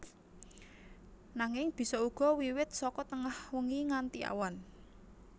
Nanging bisa uga wiwit saka tengah wengi nganti awan